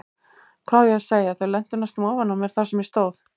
Hvað á ég að segja, þau lentu næstum ofan á mér þar sem ég stóð.